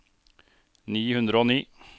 ni hundre og ni